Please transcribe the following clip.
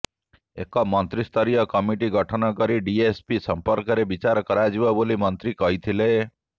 ଏକ ମନ୍ତ୍ରୀସ୍ତରୀୟ କମିଟି ଗଠନ କରି ଡିଏସିପି ସଂପର୍କରେ ବିଚାର କରାଯିବ ବୋଲି ମନ୍ତ୍ରୀ କହିଥିଲେ